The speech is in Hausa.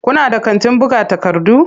Kuna da kantin buga takardu?